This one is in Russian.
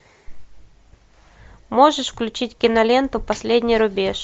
можешь включить киноленту последний рубеж